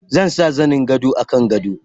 Zan sa zanin gado a kan gado.